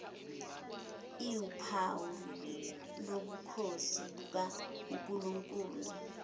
iwuphawu lobukhosi bukankulunkulu